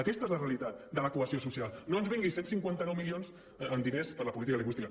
aquesta és la realitat de la cohesió social no ens vengui cent i cinquanta nou milions en diners per a la política lingüística